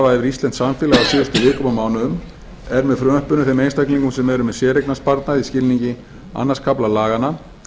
yfir íslenskt samfélag á síðustu vikum og mánuðum er með frumvarpinu þeim einstaklingum sem eru með séreignarsparnað í skilningi öðrum kafla laganna